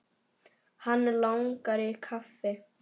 Hann langar í kaffi.